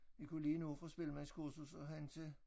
Vi kunne lige nå fra spillemandskursus og hen til